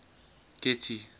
getty